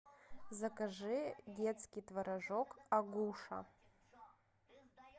закажи детский творожок агуша